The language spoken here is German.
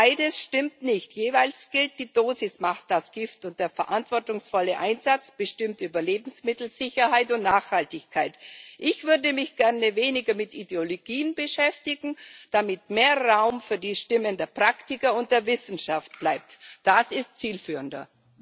Beides stimmt nicht. Jeweils gilt Die Dosis macht das Gift, und der verantwortungsvolle Einsatz bestimmt über Lebensmittelsicherheit und Nachhaltigkeit. Ich würde mich gerne weniger mit Ideologien beschäftigen, damit mehr Raum für die Stimmen der Praktiker und der Wissenschaft bleibt. Das ist zielführender.